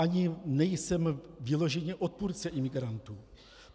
Ani nejsem vyloženě odpůrcem imigrantů.